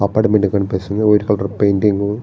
apartment కనిపిస్తుంది white colour painting --